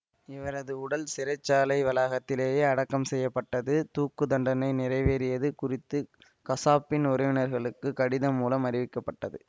இவரது உடல் சிறை சாலை வளாகத்திலேயே அடக்கம் செய்ய பட்டது தூக்கு தண்டனை நிறைவேறியது குறித்து கசாப்பின் உறவினர்களுக்கு கடிதம் மூலம் அறிவிக்கப்பட்டது